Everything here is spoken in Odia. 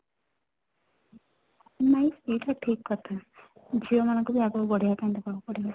ନାଇଁ, ସେଇଟା ବି ଠିକ କଥା ଝିଅ ମାନ ଙ୍କୁ ବି ଆଗକୁ ବଢିବା ପାଇଁ ଦେବାକୁ ପଡିବ